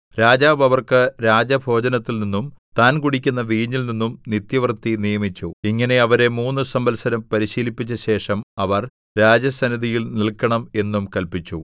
രാജാവ് അവർക്ക് രാജഭോജനത്തിൽനിന്നും താൻ കുടിക്കുന്ന വീഞ്ഞിൽനിന്നും നിത്യവൃത്തി നിയമിച്ചു ഇങ്ങനെ അവരെ മൂന്നു സംവത്സരം പരിശീലിപ്പിച്ചശേഷം അവർ രാജസന്നിധിയിൽ നില്‍ക്കണം എന്നും കല്പിച്ചു